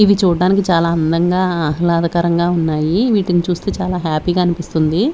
ఇవి చూడ్డనికి చాలా అందంగా ఆహ్లాదకరంగా ఉన్నాయి వీటిని చూస్తే చాలా హ్యాపీ గా అనిపిస్తుంది.